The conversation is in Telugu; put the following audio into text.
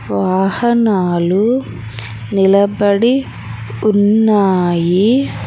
వాహనాలు నిలబడి ఉన్నాయి.